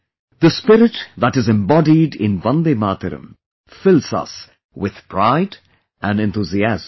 The spirit that is embodied in Vande Mataram fills us with pride and enthusiasm